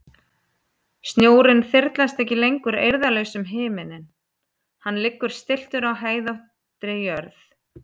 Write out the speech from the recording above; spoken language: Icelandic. Snjórinn þyrlast ekki lengur eirðarlaus um himininn, hann liggur stilltur á hæðóttri jörð.